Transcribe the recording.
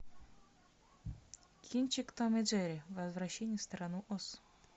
кинчик том и джерри возвращение в страну оз